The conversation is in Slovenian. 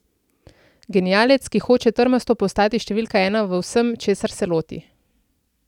Genialec, ki hoče trmasto postati številka ena v vsem, česar se loti.